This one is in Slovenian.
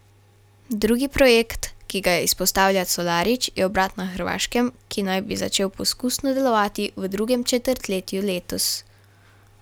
Drugi projekt, ki ga izpostavlja Colarič, je obrat na Hrvaškem, ki naj bi začel poskusno delovati v drugem četrtletju letos.